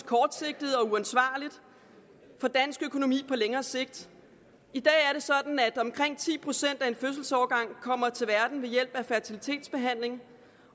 kortsigtet og uansvarligt for dansk økonomi på længere sigt i dag er det sådan at omkring ti procent af en fødselsårgang kommer til verden ved hjælp af fertilitetsbehandling